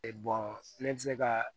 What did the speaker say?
ne bɛ se ka